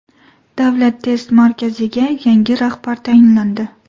Davlat test markaziga yangi rahbar tayinlandi.